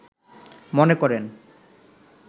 মনে করেন